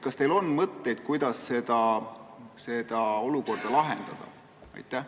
Kas teil on mõtteid, kuidas seda olukorda lahendada?